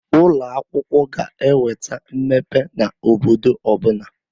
Ụloakwụkwọ ga-eweta mmepe n'obodo ọbụna.